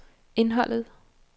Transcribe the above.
indholdet